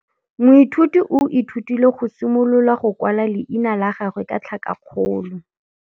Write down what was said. Moithuti o ithutile go simolola go kwala leina la gagwe ka tlhakakgolo.